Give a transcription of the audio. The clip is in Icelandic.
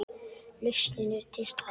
Lausnin er til staðar.